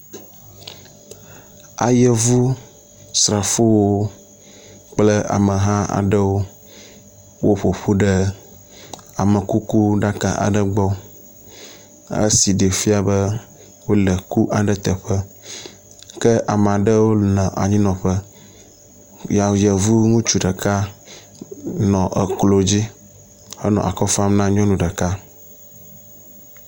Ayevu srafowo kple ameha aɖewo woƒoƒu ɖe amekuku ɖaka aɖe gbɔ, esi ɖee fia be wole eku aɖe teƒe. kea me aɖewo nɔ anyinɔƒe. Yevu ŋutsu ɖeka nɔ eklo dzi henɔ akɔ fam na nyɔnu ɖeka.